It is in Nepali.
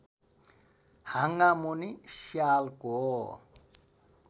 हाँगामुनि स्यालको